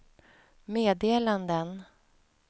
meddelanden